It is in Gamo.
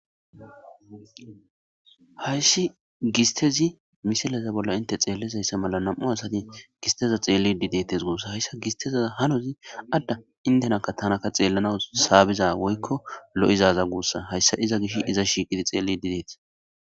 Hayssi gistezi misileza bolla inte xeellezayssa mala nam'u asati gisteza xeelli didetes guossa hayssa gistezaa hanozi adda intenakka tanaka xeellanaw saabiza woykko lo'izaza guussa hayssa iza gish iza shiiqidi xeelli dideeta.